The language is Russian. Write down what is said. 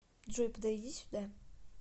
джой подойди сюда